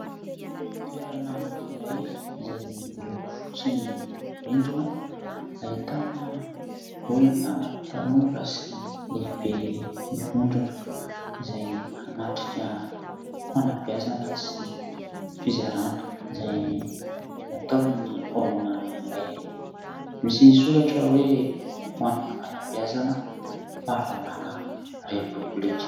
Toerana iray izay miloko fotsy ny rindrina, ahitana olona tanora sy lehibe mivondrona izay hanatrika fanabeazana sy fizarana izay ataony ny olona iray, misy ny soratra hoe'' ho an'ny fanabeazana fahalalàna repoblika'' .